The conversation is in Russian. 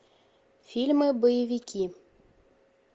фильмы боевики